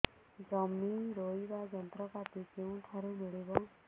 ଜମି ରୋଇବା ଯନ୍ତ୍ରପାତି କେଉଁଠାରୁ ମିଳିବ